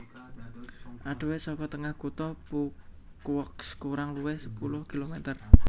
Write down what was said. Adohé saka tengah kutha Phu Quoc kurang luwih sepuluh kilometer